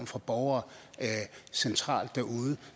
fra borgere centralt derude